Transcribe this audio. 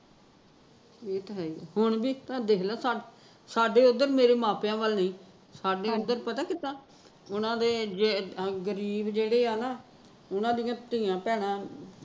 ਇਹ ਤਾਂ ਹੈ ਹੀਂ, ਹੁਣ ਵੀ ਤਾਂ ਦੇਖਲਾ ਸਾਡੇ ਓਦਰ ਮੇਰੇ ਮਾਪਿਆ ਵੱਲ ਸੀ ਸਾਡੇ ਓਦਰ ਪਤਾ ਕਿੱਦਾਂ ਉਹਨਾਂ ਦੇ ਜੇ ਗਰੀਬ ਜਿਹੜੇ ਆ ਨਾ ਉਹਨਾਂ ਦੀਆ ਧੀਆ ਭੈਣਾ